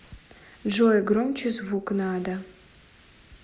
джой громче звук надо